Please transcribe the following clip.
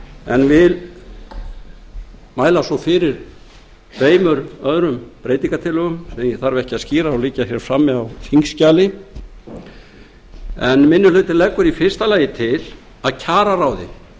en vil mæla svo fyrir tveimur öðrum breytingartillögum sem ég þarf ekki að skýra þær liggja frammi á þingskjali minni hlutinn leggur í fyrsta lagi til að kjararáði